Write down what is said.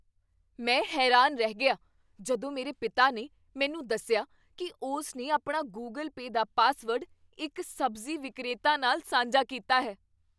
ਮੈਂ ਹੈਰਾਨ ਰਹਿ ਗਿਆ ਜਦੋਂ ਮੇਰੇ ਪਿਤਾ ਨੇ ਮੈਨੂੰ ਦੱਸਿਆ ਕੀ ਉਸ ਨੇ ਆਪਣਾ ਗੂਗਲ ਪੇਅ ਦਾ ਪਾਸਵਰਡ ਇੱਕ ਸਬਜ਼ੀ ਵਿਕਰੇਤਾ ਨਾਲ ਸਾਂਝਾ ਕੀਤਾ ਹੈ।